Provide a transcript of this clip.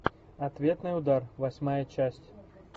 ответный удар восьмая часть